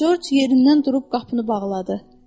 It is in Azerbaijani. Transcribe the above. Corc yerindən durub qapını bağladı.